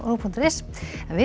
punktur is en við